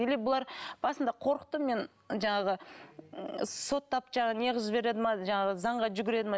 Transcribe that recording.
или бұлар басында қорықтым мен жаңағы соттап жаңағы не қылып жібереді ме жаңағы заңға жүгіреді ме